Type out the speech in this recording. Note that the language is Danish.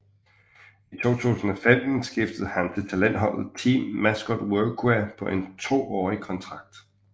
I 2015 skiftede han til talentholdet Team Mascot Workwear på en toårig kontrakt